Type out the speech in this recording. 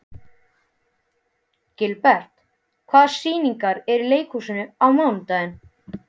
Gilbert, hvaða sýningar eru í leikhúsinu á mánudaginn?